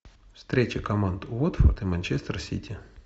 встреча команд уотфорд и манчестер сити